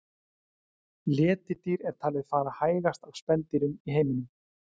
Letidýr er talið fara hægast af spendýrum í heiminum.